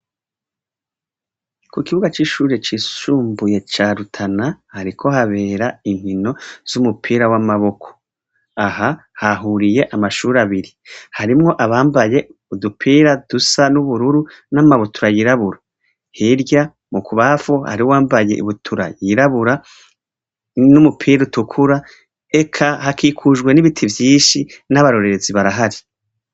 ku kibuga c'ishure cisumbuye ca Rutana hariko habera inkino z'umupira w'amaboko. Aha hahuriye amashuri abiri. Harimwo abambaye udupira dusa n'ubururu n'amabutura y'irabura, hirya mu kubanfu hariho uwambaye ibutura yirabura n'umupira utukura. Eka hakikujwe n'ibiti vyishi n'abarorerezi barahari.